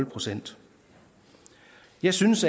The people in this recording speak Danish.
procent jeg synes